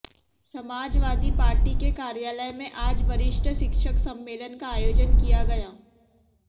Samajwadi party के कार्यालय में आज वरिष्ठ शिक्षक सम्मेलन का आयोजन किया गया